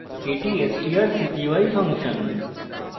এটি আমাদের strcpy function